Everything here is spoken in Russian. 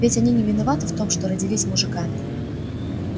ведь они не виноваты в том что родились мужиками